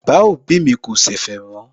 Bàbá òbí mi kò ṣẹ̀fẹ̀ mọ́